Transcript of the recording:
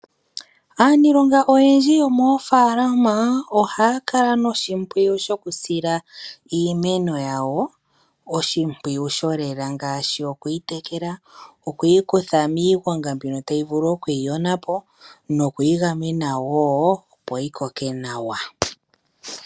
Aanilonga oyendji yomoofaalama ohaya kala noshimpwiyu shoku sila iimeno yawo oshimpwiyu sholela ngaashi okuyi tekela, okuyi kutha miigwanga mbyoka tayi vulu okuyi yonapo nokuyi gamena woo opo yikoke nawa.